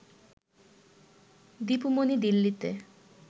দীপু মনি দিল্লিতে